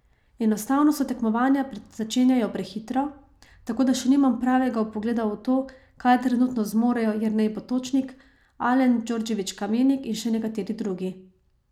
Enostavno se tekmovanja začenjajo prehitro, tako da še nimam pravega vpogleda v to, kaj trenutno zmorejo Jernej Potočnik, Alen Djordjević Kamenik in še nekateri drugi.